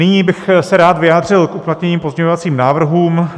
Nyní bych se rád vyjádřil k uplatněným pozměňovacím návrhům.